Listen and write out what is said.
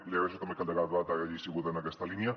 li agraeixo també que el debat hagi sigut en aquesta línia